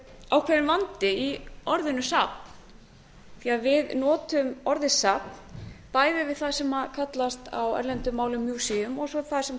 ákveðinn vandi í orðinu safn því við notum farið safn bæðiyfir það sem kallast á erlendum málum museum og svo það sem